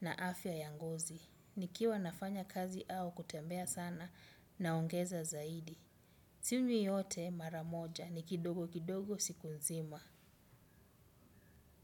na afya ya ngozi. Nikiwa nafanya kazi au kutembea sana naongeza zaidi. Sinywi yote mara moja ni kidogo kidogo siku nzima.